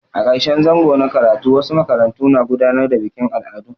A ƙarshen zango na karatu wasu makarantu na gudanar da bikin al'adu.